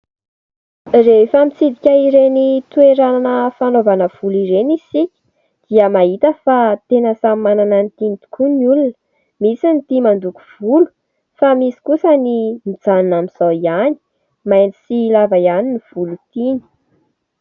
Rehefa mitsidika ireny toerana fanaovana volo ireny isika dia mahita fa tena samy manana ny tiany tokoa ny olona ; misy ny tia mandoko volo fa misy kosa ny mijanona amin'izao ihany mainty sy lava ihany ny volo tiany.